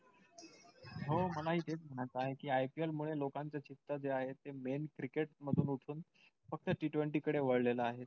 हो मला हि तेच म्हणायचं आहे कि IPL मुळे लोकांचं चित्त जे आहे ते main cricket मधून उठून फक्त t twenty कडे वाळलेलं आहे.